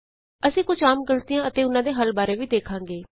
ਅਸੀਂ ਕੁਝ ਆਮ ਗ਼ਲਤੀਆਂ ਅਤੇ ੳਹਨਾਂ ਦੇ ਹੱਲ ਬਾਰੇ ਵੀ ਦੇਖਾਂਗੇ